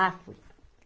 Ah, fui.